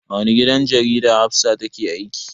A wani gidan jarida Hafsah take aiki.